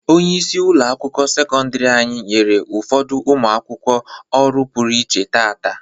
Onyeisi ụlọ akwụkwọ sekọndiri anyị nyere ụfọdụ ụmụ akwụkwọ ọrụ pụrụ iche taata.